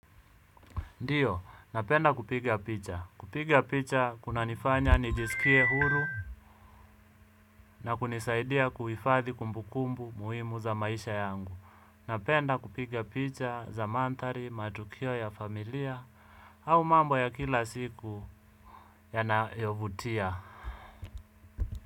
Ndiyo, napenda kupiga picha. Kupiga picha, kunanifanya nijisikie huru na kunisaidia kuifadhi kumbukumbu muhimu za maisha yangu. Napenda kupiga picha za mandhari, matukio ya familia, au mambo ya kila siku yanayovutia.